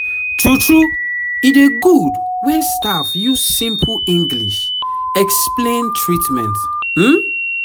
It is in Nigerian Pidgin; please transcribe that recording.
true true e dey good when staff use simple english explain treatment um